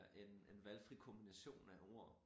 En en valgfri kombination af ord